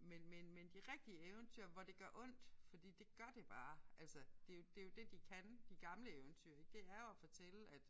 Men men men de rigtige eventyr hvor det gør ondt fordi det gør det bare. Altså det er jo det er jo det de kan de gamle eventyr ik det er jo at fortælle at